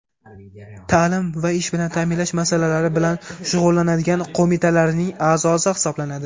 ta’lim va ish bilan ta’minlash masalalari bilan shug‘ullanadigan qo‘mitalarining a’zosi hisoblanadi.